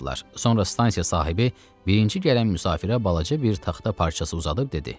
Sonra stansiya sahibi birinci gələn müsafirə balaca bir taxta parçası uzadıb dedi: